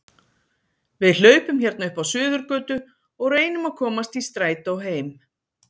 Við hlaupum hérna upp á Suðurgötu og reynum að komast í strætó heim